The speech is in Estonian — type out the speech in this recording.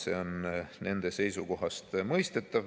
See on nende seisukohast mõistetav.